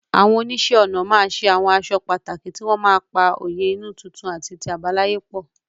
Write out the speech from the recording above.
Àwọn oníṣẹ́ ọnà ma ṣe àwọn aṣọ pàtàkì tí wọ́n ma pa òye inú tuntun àti ti àbáláyé pọ̀.